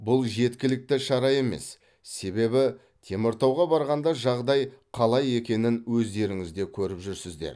бұл жеткілікті шара емес себебі теміртауға барғанда жағдай қалай екенін өздеріңіз де көріп жүрсіздер